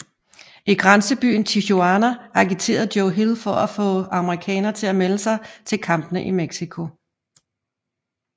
I grænsebyen Tijuana agiterer Joe Hill for at få amerikanere til at melde sig til kampene i Mexico